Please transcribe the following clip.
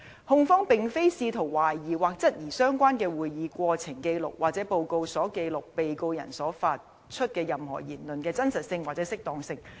控方並非試圖懷疑或質疑相關的會議過程紀錄或報告所記錄被告人發出的任何言論的真實性或適當性。